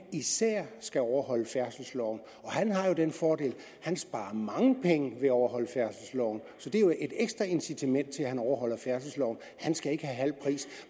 skal overholde færdselsloven han har den fordel at han sparer mange penge ved at overholde færdselsloven så det er jo et ekstra incitament til at han overholder færdselsloven han skal ikke have halv pris